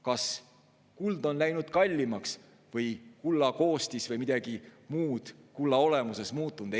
Kas kuld on läinud kallimaks või on kulla koostis või on midagi muud kulla olemuses muutunud?